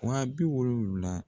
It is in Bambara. Wa bi wolonwula.